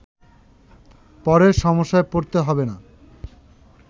পরে সমস্যায় পড়তে হবে না